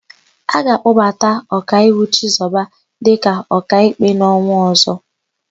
A ga-akpọbata Ọkaiwu Chizọba dịka Ọkaikpe n'ọnwa ọ̀zọ́.